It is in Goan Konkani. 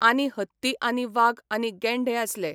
आनी हत्ती आनी वाग आनी गेंढे आसले.